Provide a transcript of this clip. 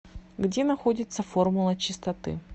где находится формула чистоты